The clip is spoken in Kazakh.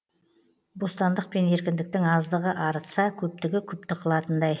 бостандық пен еркіндіктің аздығы арытса көптігі күпті қылатындай